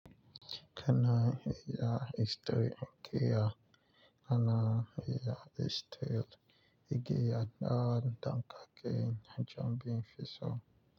Kana iya history, ge ya. Kana iya history, ge ya. Na danka ke najin bin fiso.